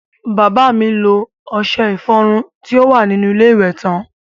Bàbá mi lo ọṣẹ ìfọrun tí ó wà nínú ilé iwẹ̀ tán.